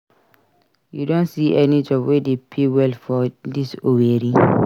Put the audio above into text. You don see any job wey dey pay well for dis Owerri?